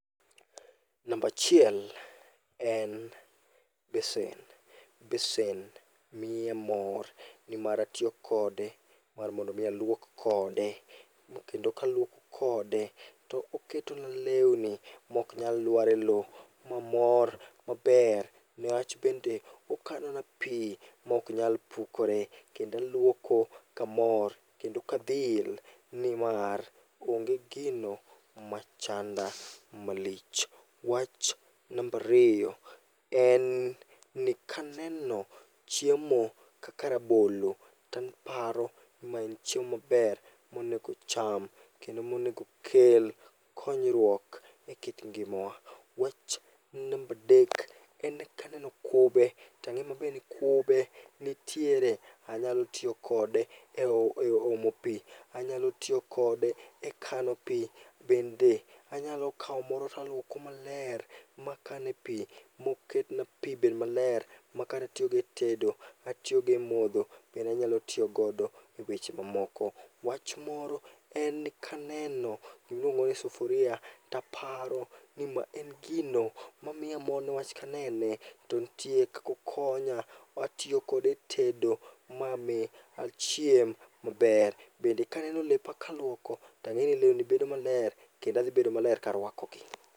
Namba achiel en besen. Besen miya mor nimar atiyo kode , mar mondo mi aluok kode kendo ka aluoko kode, to oketona lewni maok nyal luar e lowo. Ma mor maber newach bende okanona pi maok nyal pukore kendo aluoko kamor kendo kadhil nimar onge gino machanda malich. Wach namba ariyo, en ni kaneno chiemo kaka rabolo taparo maen chiemo maber monego ocham kendo monego okel konyruok ekit ngimawa. Wach namba adek, en kaneno kube, tang'e maber ni kube nitiere, anyalo tiyo kode e omo pi. Anyalo tiyo kode e kano pi. Bende anyalo kawo moro taluoko maler, makane pi moketna pi bed maler, makato atiyo go etedo, atiyogo e modho, be anyalo tiyogo eweche mamoko. Wach moro, en ni kaneno gima iluongo ni sufuria taparo ni ma en gino mamiya mor niwach kanene to nitie kaka okonya. Atiyo kode etedo mami achiem maber. Bende ka aneno lepa kaluoko, tang'e ni lewni dhi bedo maler kendo adhi bedo maler karuakogi.